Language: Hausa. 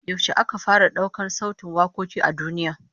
Yaushe aka fara daukar sautin wakoki a duniya?